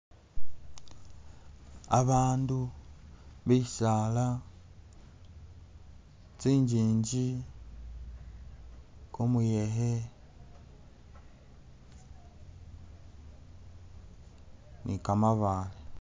Abandu, bisala, kyingingi, kumuyekhe, ni'kamabale